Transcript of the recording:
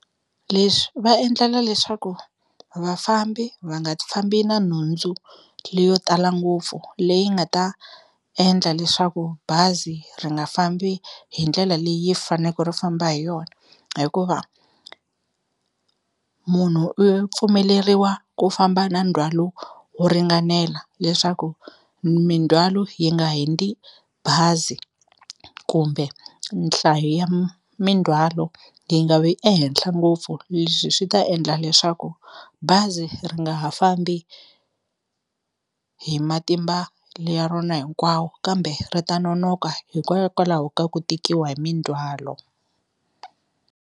Leswi va endlela leswaku vafambi va nga fambi na nhundzu leyo tala ngopfu leyi nga ta endla leswaku bazi ri nga fambi hi ndlela leyi faneke ri famba hi yona hikuva munhu i pfumeleriwa ku famba na ndzhwalo wo ringanela leswaku mindzhwalo yi nga hundzi bazi kumbe nhlayo ya mindzhwalo yi nga vi ehenhla ngopfu leswi swi ta endla leswaku bazi ri nga ha fambi hi matimba ya rona hinkwawo kambe ri ta nonoka hikokwalaho ka ku tikiwa hi mindzwalo.